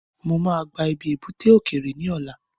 Mo ma gba ibi ebúté òkèerè ní ọ̀la